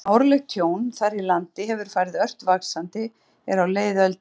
Árlegt tjón þar í landi hefur farið ört vaxandi er á leið öldina.